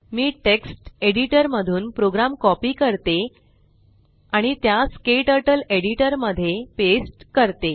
मी text editor मधून program copy करते आणि त्यास क्टर्टल एडिटर मध्ये पेस्ट करते